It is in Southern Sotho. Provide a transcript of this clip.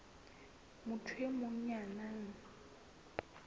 motho e mong ya nang